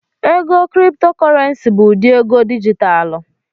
Ego Kriptokorenci bụ ụdị ego dijitalụ